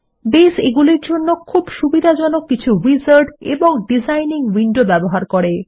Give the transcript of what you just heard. base এগুলির জন্য খুব সুবিধাজনক কিছু উইজার্ড এবং ডিজাইনিং উইন্ডোজ ব্যবহার করে